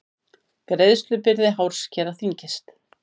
Greiðslubyrði hárskera þyngist